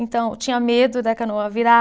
Então, eu tinha medo da canoa virar.